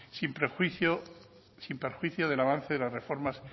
sin perjuicio del avance de las reformas